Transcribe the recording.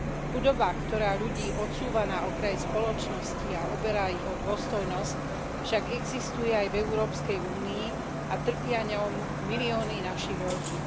Chudoba, ktorá ľudí odsúva na okraj spoločnosti a oberá ich o dôstojnosť, však existuje aj v Európskej únii a trpia ňou milióny našich rodín.